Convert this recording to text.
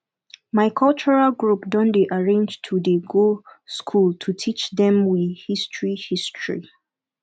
my cultural group don dey arrange to dey go skool to teach dem we history history